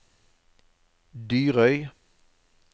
Dyrøy